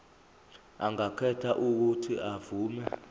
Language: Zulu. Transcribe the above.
angakhetha uuthi avume